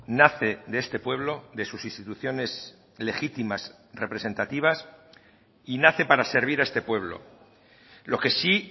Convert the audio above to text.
nace de este pueblo de sus instituciones legítimas representativas y nace para servir a este pueblo lo que sí